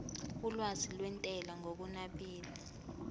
olwazi lwentela ngokunabile